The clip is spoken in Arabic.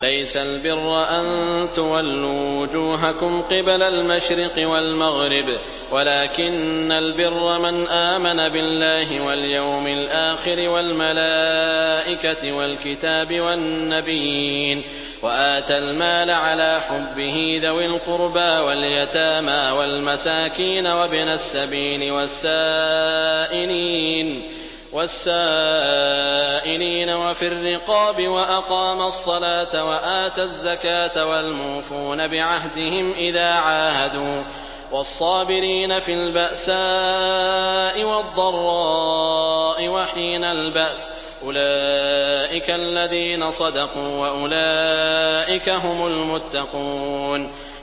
۞ لَّيْسَ الْبِرَّ أَن تُوَلُّوا وُجُوهَكُمْ قِبَلَ الْمَشْرِقِ وَالْمَغْرِبِ وَلَٰكِنَّ الْبِرَّ مَنْ آمَنَ بِاللَّهِ وَالْيَوْمِ الْآخِرِ وَالْمَلَائِكَةِ وَالْكِتَابِ وَالنَّبِيِّينَ وَآتَى الْمَالَ عَلَىٰ حُبِّهِ ذَوِي الْقُرْبَىٰ وَالْيَتَامَىٰ وَالْمَسَاكِينَ وَابْنَ السَّبِيلِ وَالسَّائِلِينَ وَفِي الرِّقَابِ وَأَقَامَ الصَّلَاةَ وَآتَى الزَّكَاةَ وَالْمُوفُونَ بِعَهْدِهِمْ إِذَا عَاهَدُوا ۖ وَالصَّابِرِينَ فِي الْبَأْسَاءِ وَالضَّرَّاءِ وَحِينَ الْبَأْسِ ۗ أُولَٰئِكَ الَّذِينَ صَدَقُوا ۖ وَأُولَٰئِكَ هُمُ الْمُتَّقُونَ